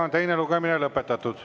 Teine lugemine on lõpetatud.